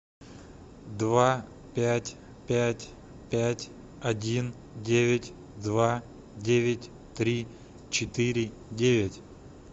два пять пять пять один девять два девять три четыре девять